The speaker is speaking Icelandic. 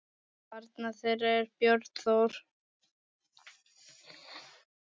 Barn þeirra er Björn Þór.